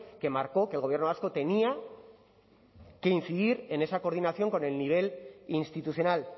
que marcó que el gobierno vasco tenía que incidir en esa coordinación con el nivel institucional